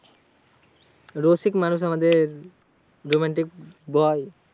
রসিক মানুষ আমাদের romantic boy.